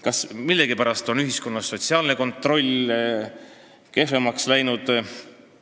Kas millegipärast on ühiskonnas sotsiaalne kontroll kehvemaks läinud?